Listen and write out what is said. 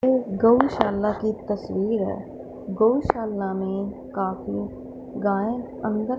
ये गौशाला की तस्वीर है गौशाला में काफी गाय अंदर--